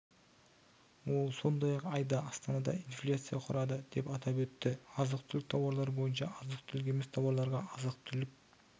ол сондай-ақ айда астанада инфляция құрады деп атап өтті азық-түлік тауарлары бойынша азық-түлік емес тауарларға азық-түлік